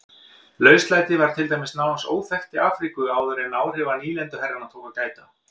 Lauslæti var til dæmis nánast óþekkt í Afríku áður en áhrifa nýlenduherrana tók að gæta.